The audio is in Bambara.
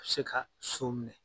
se ka so minɛ.